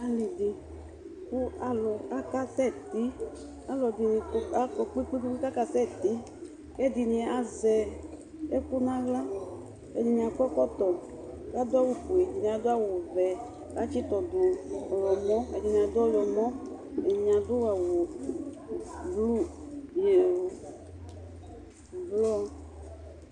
ali di kò alo aka sɛ ti alo ɛdini akɔ kpe kpe kpe k'aka sɛ ti k'ɛdini azɛ ɛkò n'ala ɛdini akɔ ɛkɔtɔ k'adu awu fue ɛdini adu awu vɛ k'atsi to do ɔwlɔmɔ ɛdini adu ɔwlɔmɔ ɛdini adu awu blu ublɔ